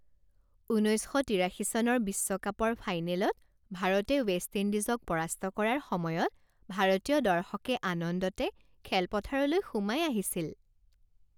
উনৈছ শ তিৰাশী চনৰ বিশ্বকাপৰ ফাইনেলত ভাৰতে ৱেষ্ট ইণ্ডিজক পৰাস্ত কৰাৰ সময়ত ভাৰতীয় দৰ্শকে আনন্দতে খেলপথাৰলৈ সোমাই আহিছিল।